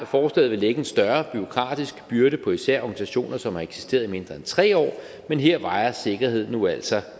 forslaget vil lægge en større bureaukratisk byrde på især organisationer som har eksisteret i mindre end tre år men her vejer sikkerheden nu altså